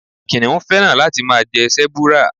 Kìnnìún féràn láti máa jẹ Sẹ́búúrà.